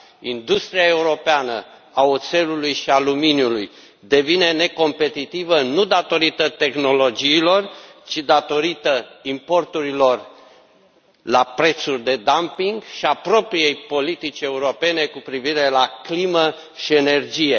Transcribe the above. Industria europeană a oțelului și aluminiului devine necompetitivă, nu datorită tehnologiilor, ci datorită importurilor la prețuri de dumping și a propriei politici europene cu privire la climă și energie.